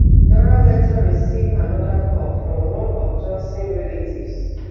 dora later receive anoda call from one of johnson relatives